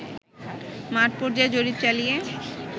মাঠ পর্যায়ে জরিপ চালিয়ে